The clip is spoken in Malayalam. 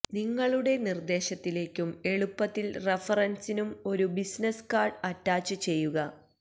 നിങ്ങളുടെ നിർദേശത്തിലേക്കും എളുപ്പത്തിൽ റഫറൻസിനും ഒരു ബിസിനസ് കാർഡ് അറ്റാച്ചുചെയ്യുക